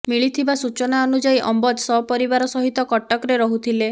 ମିଳିଥିବା ସୂଚନା ଅନୁଯାୟୀ ଅମ୍ବଜ ସପରିବାର ସହିତ କଟକରେ ରହୁଥିଲେ